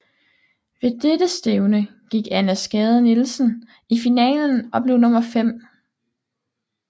Ved dette stævne gik Anna Skade Nielsen i finalen og blev nummer 5